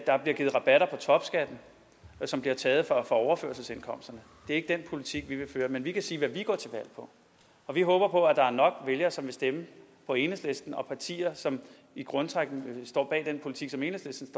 der bliver givet rabatter på topskatten som bliver taget fra overførselsindkomsterne det er ikke den politik vi vil føre men vi kan sige hvad vi går til valg på og vi håber på at der er nok vælgere som vil stemme på enhedslisten og på partier som i grundtrækkene står bag den politik som enhedslisten